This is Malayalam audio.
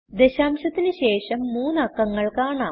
ദശാംശത്തിന് ശേഷം മൂന്ന് അക്കങ്ങൾ കാണാം